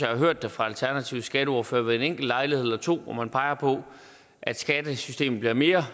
har hørt fra alternativets skatteordfører ved en enkelt lejlighed eller to at man har peget på at skattesystemet bliver mere